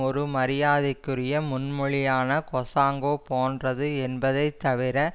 ஒரு மரியாதைக்குரிய முன்மொழியான கொஜாங்கோ போன்றது என்பதை தவிர